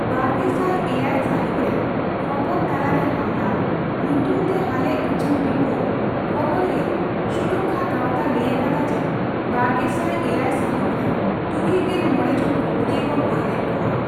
ᱵᱟᱨᱜᱮᱥᱟᱭ ᱮᱭᱟᱭ ᱥᱟᱹᱦᱤᱛᱨᱮ ᱠᱷᱚᱵᱚᱨ ᱛᱟᱞᱟᱨᱮ ᱦᱟᱢᱞᱟ, ᱧᱩᱛᱩᱢᱛᱮ ᱦᱟᱞᱮ ᱩᱪᱷᱟᱹᱱ ᱨᱤᱯᱳᱨᱴᱨᱮ, ᱠᱷᱚᱵᱚᱨᱤᱭᱟᱹ ᱥᱩᱨᱚᱠᱠᱷᱟ ᱜᱟᱸᱶᱛᱟ ᱞᱟᱹᱭ ᱟᱠᱟᱫᱟ ᱡᱮ ᱵᱟᱨᱜᱮᱥᱟᱭ ᱮᱭᱟᱭ ᱥᱟᱹᱦᱤᱛᱨᱮ ᱛᱩᱨᱩᱭᱜᱮᱞ ᱢᱚᱲᱮ ᱡᱚᱱ ᱠᱷᱚᱵᱚᱨᱤᱭᱟᱹ ᱠᱚ ᱜᱚᱡ ᱞᱮᱫ ᱠᱳᱣᱟ ᱾